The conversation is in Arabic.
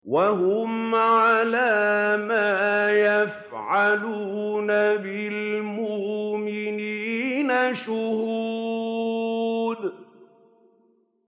وَهُمْ عَلَىٰ مَا يَفْعَلُونَ بِالْمُؤْمِنِينَ شُهُودٌ